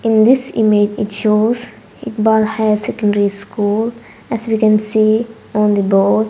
in this image it shows Iqbal higher secondary school as we can see on the board.